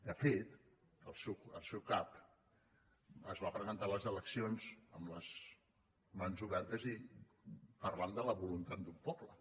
de fet el seu cap es va presentar a les eleccions amb les mans obertes i parlant de la voluntat d’un poble